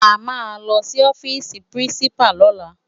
Á má lòsi òfisi pirinsipá lòlá